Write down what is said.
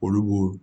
Olu b'o